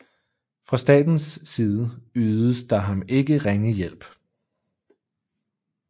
Fra statens side ydedes der ham ikke ringe hjælp